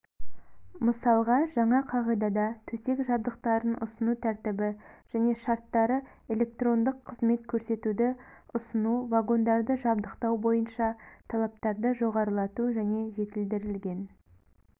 мысалға жаңа қағидада төсек жабдықтарын ұсыну тәртібі және шарттары электрондық қызмет көрсетуді ұсыну вагондарды жабдықтау бойынша талаптарды жоғарылату және жетілдірілген